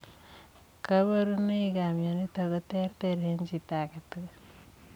Kabarunnoik ap mionitok kotereter eng chii age tugul